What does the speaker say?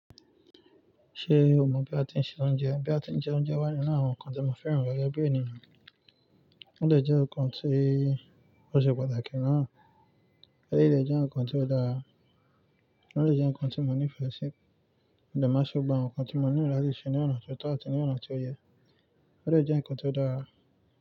Ṣé o mọ̀ bí a ti ń se oúnjẹ? Bí a ti ń jẹ oúnjẹ wá nínú àwọn nǹkan tí mo fẹ́ràn gẹ́gẹ́ bí ènìyàn? Ó lè jẹ́ nǹkan tí ó ṣe pàtàkì náà, osi lè jẹ́ nǹkan tí ó dára, ó lè jẹ́ nǹkan tí mo nífẹ̀ẹ́ sí, ó lè má ṣe gba nǹkan tí mo nílo látí ṣe ní ọ̀nà tó tọ̀ ọ́ àti ní ọ̀nà tó yẹ, ó dè jẹ́ nǹkan tí ó dára.